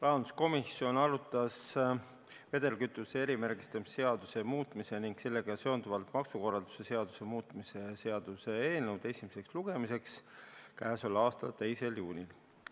Rahanduskomisjon arutas vedelkütuse erimärgistamise seaduse muutmise ning sellega seonduvalt maksukorralduse seaduse muutmise seaduse eelnõu esimesele lugemisele saatmiseks k.a 2. juunil.